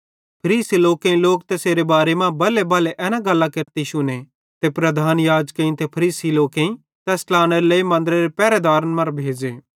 फरीसी लोकेईं लोक तैसेरे बारे मां बल्हेबल्हे एना गल्लां केरते शुने ते प्रधान याजकेईं ते फरीसी लोकेईं तैस ट्लानेरे लेइ मन्दरेरे पहरदार भेज़े